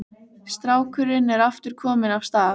Strákurinn er aftur kominn af stað.